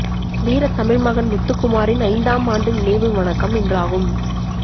வீரத் தமிழ் மகன் முத்துக்குமாரின் ஐந்தாம் ஆண்டு நினைவு வணக்கம் இன்றாகும்